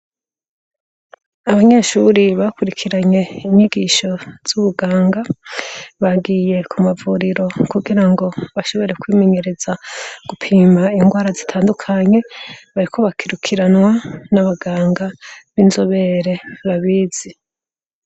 Abanyeshure bakurikiranye inyigisho z’ubuganga bagiye ku mavuriro kugira ngo bashobore kwimenyereza gupima ingwara zitandukanye, bariko barakurikanwa n'abaganga b'inzobere babizi.